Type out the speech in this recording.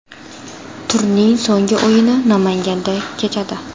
Turning so‘nggi o‘yini Namanganda kechadi.